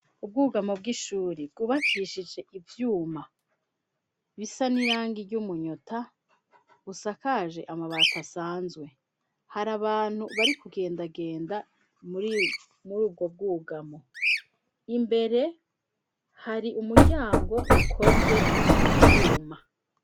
ubwugamo bw'ishuri kubakishije ivyuma bisa n'irangi ry'umunyota busakaje amabati asanzwe, hari abantu bari kugendagenda, muri ubwo bwugamo imbere hari umuryango ukoze mu vyuma.